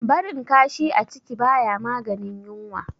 Barin kashi a ciki ba ya maganin yunwa.